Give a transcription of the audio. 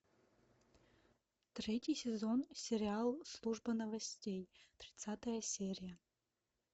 третий сезон сериал служба новостей тридцатая серия